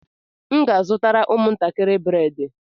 M ga-azụtara ụmụntakịrị bredị